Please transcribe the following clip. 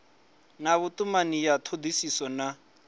na vhutumani ya thodisiso na